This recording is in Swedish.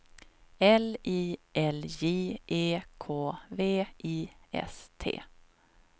L I L J E K V I S T